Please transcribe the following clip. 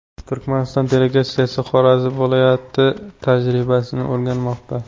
Turkmaniston delegatsiyasi Xorazm viloyati tajribasini o‘rganmoqda.